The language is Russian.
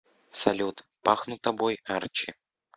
салют пахну тобой арчи